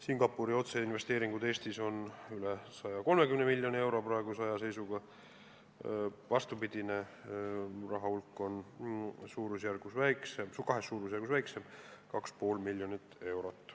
Singapuri otseinvesteeringuid Eestis on praeguse seisuga üle 130 miljoni euro, vastupidine raha hulk on kahe suurusjärgu võrra väiksem – 2,5 miljonit eurot.